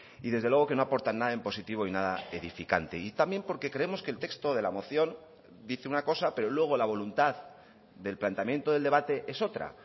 y desde luego que no aportan nada en positivo y nada edificante y también porque creemos que el texto de la moción dice una cosa pero luego la voluntad del planteamiento del debate es otra